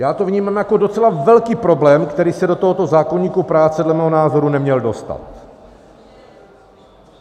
Já to vnímám jako docela velký problém, který se do tohoto zákoníku práce dle mého názoru neměl dostat.